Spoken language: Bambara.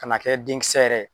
Ka n'a kɛ den kisɛ yɛrɛ